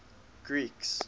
greeks